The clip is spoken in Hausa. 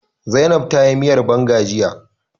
Zainab ta yi miyar banga jiya